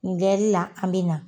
Ni ngɛɛri la an bɛ na.